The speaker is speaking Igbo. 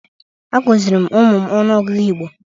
A kụziri m ụmụ m ọnụọgụgụ Igbo.